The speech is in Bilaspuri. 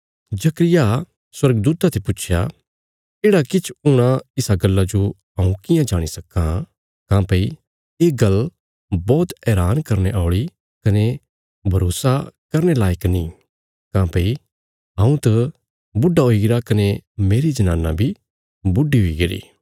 जकर्याह स्वर्गदूता ते पुच्छया येढ़ा किछ हूणा इसा गल्ला जो हऊँ कियां जाणी सक्कां काँह्भई ये गल्ल बौहत हैरान करने औल़ी कने भरोसा करने लायक नीं काँह्भई हऊँ त बुड्डा हुईगरा कने मेरी जनाना बी बुड्डी हुईगरी